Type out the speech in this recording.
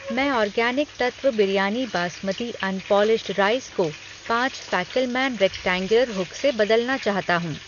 मैं organic Tattva biryani basmati unpolished rice को पाँच फ़ैकेलमैन रेक्टैंग्युलर हुक से बदलना चाहता हूँ।